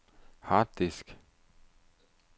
harddisk